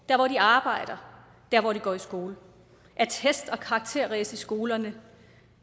der hvor de arbejder der hvor de går i skole af test og karakteræs i skolerne